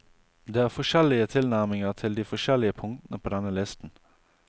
Det er forskjellige tilnærminger til de forskjellige punktene på denne listen.